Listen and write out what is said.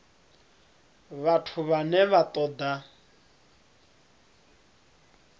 vhathu vhane vha ṱo ḓa